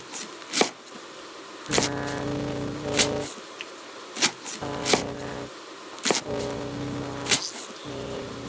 Hann vill bara komast heim.